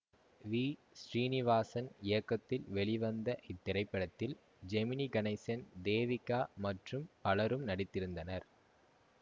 we Srinivasan இயக்கத்தில் வெளிவந்த இத்திரைப்படத்தில் ஜெமினி கணேசன் தேவிகா மற்றும் பலரும் நடித்திருந்தனர்